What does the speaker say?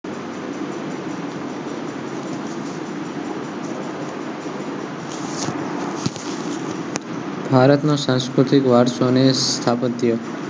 ભારત ના સાંસ્ક્રુતિક વારસો નો સ્ત્થાપ્ત્યો